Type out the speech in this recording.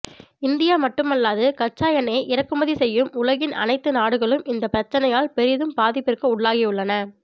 India மட்டுமல்லாது கச்சா எண்ணெய்யை இறக்குமதி செய்யும் உலகின் அனைத்து நாடுகளும் இந்த பிரச்னையால் பெரிதும் பாதிப்பிற்கு உள்ளாகியுள்ளன